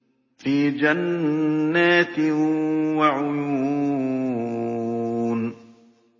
فِي جَنَّاتٍ وَعُيُونٍ